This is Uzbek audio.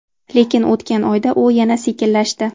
Lekin, o‘tgan oyda u yana sekinlashdi.